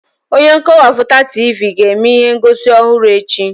Onye nkọwapụta Tivii ga-eme ihe ngosi ọhụrụ echi.